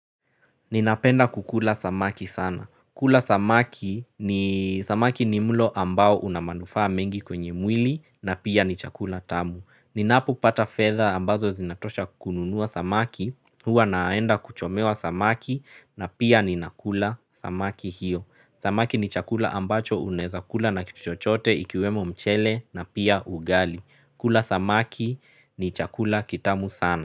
Ninapenda kukula samaki sana. Kula samaki ni samaki ni mlo ambao una manufaa mengi kwenye mwili na pia ni chakula tamu. Ninapopata fedha ambazo zinatosha kukununua samaki. Huwa naenda kuchomewa samaki na pia ninakula samaki hiyo. Samaki ni chakula ambacho unaweza kula na kitu chochote ikiwemo mchele na pia ugali. Kula samaki ni chakula kitamu sana.